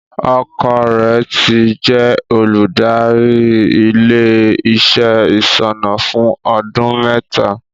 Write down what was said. Ọkọ rẹ̀ ti jẹ́ olùdarí ilé-iṣẹ́ ìṣúná fún ọdún mẹ́ta.